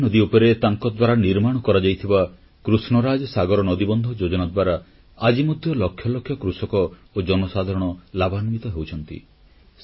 କାବେରୀ ନଦୀ ଉପରେ ତାଙ୍କଦ୍ୱାରା ନିର୍ମାଣ କରାଯାଇଥିବା କୃଷ୍ଣରାଜସାଗର ନଦୀବନ୍ଧ ଯୋଜନା ଦ୍ୱାରା ଆଜି ମଧ୍ୟ ଲକ୍ଷ ଲକ୍ଷ କୃଷକ ଓ ଜନସାଧାରଣ ଲାଭାନ୍ୱିତ ହେଉଛନ୍ତି